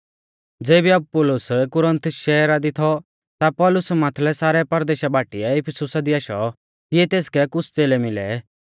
ज़ेबी अपुल्लोस कुरिन्थुस शहरा दी थौ ता पौलुस माथलै सारै परदेशा बाटीऐ इफिसुसा दी आशौ तिऐ तेसकै कुछ़ च़ेलै मिलै